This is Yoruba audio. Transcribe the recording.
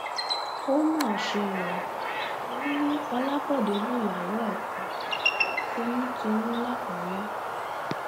ó mà ṣe o wọn ní ọlábòde lùyàwó ẹ pa toyúntoyún lákúrẹ